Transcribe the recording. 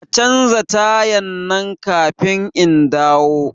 Ka canza tayan nan kafin indawo